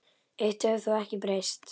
Eitt hefur þó ekki breyst.